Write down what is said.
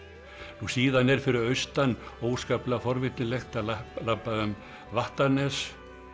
nú síðan er fyrir austan óskaplega forvitnilegt að labba um Vattarnes